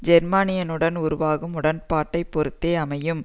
ஜேர்மனியுடன் உருவாகும் உடன்பாட்டை பொறுத்தே அமையும்